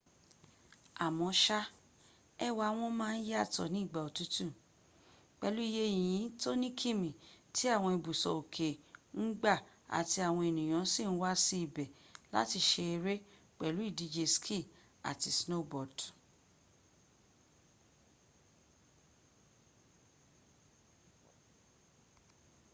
àmóṣá ẹwà wọn máa ń yàtọ̀ ní ìgbà òtútù pẹlú iye yìnyín tó ní kìmí tí àwọn ibùsọ̀ òkè ń gbà àti àwọn ènìyàn sì ń wá sí ibẹ̀ láti ṣe eré pẹ̀lú ìdíje ski àti snowboard